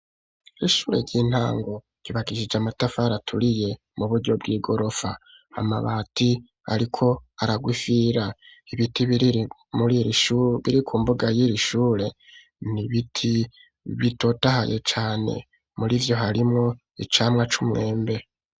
Ishure ry'intango ryubakishije amatafari aturiye mu buryo bw'igorofa amabati ariko ararwa ifira ibiti biri shure biri ku mbuga yiri shure n'ibiti bitotahaye cane murivyo harimwo icamwa c'umwembe.